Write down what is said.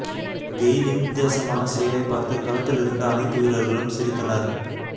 கெயிலின் வித்தியாசமான செயலைப் பார்த்து களத்தில் இருந்த அனைத்து வீரர்களும் சிரித்தனர்